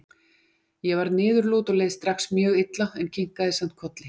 Ég varð niðurlút og leið strax mjög illa, en kinkaði samt kolli.